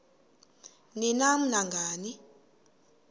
ni nam nangani